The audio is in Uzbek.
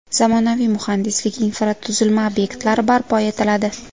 Zamonaviy muhandislik infratuzilma obyektlari barpo etiladi.